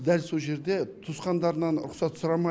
бірақ дәл сол жерде туысқандарынан рұқсат сұрамай